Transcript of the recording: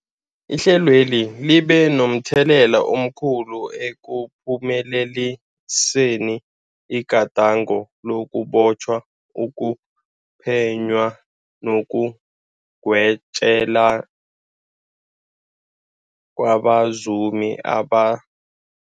Ihlelweli libe momthelela omkhulu ekuphumeleliseni igadango lokubotjhwa, ukuphenywa nekugwetjweni kwabazumi aba